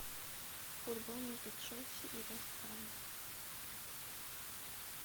футбол между челси и вест хэмом